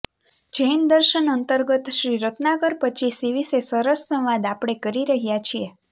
જૈન દર્શન અંતર્ગત શ્રી રત્નાકર પચ્ચીસી વિશે સરસ સંવાદ આપણે કરી રહ્યા છીએ